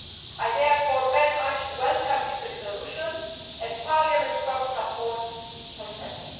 I therefore very much welcome this Resolution and Parliament's strong support for SEPA.